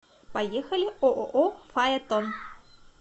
поехали ооо фаэтон